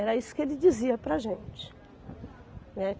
Era isso que ele dizia para a gente, né?